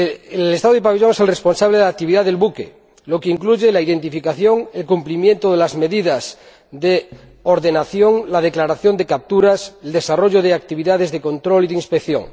El Estado del pabellón es el responsable de la actividad del buque, lo que incluye la identificación, el cumplimiento de las medidas de ordenación, la declaración de capturas y el desarrollo de actividades de control y de inspección.